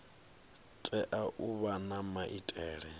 tea u vha na maitele